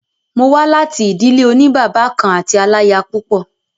Mo wà láti ìdílé òní bàbá kan àti aláyapúpọ̀.